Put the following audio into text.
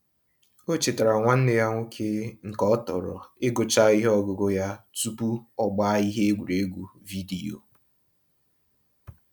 O chetaara nwanne ya nwoke nke ọ tọro igucha ihe ọgụgụ ya tupu ọgbaa ihe egwuregwu vidiyo.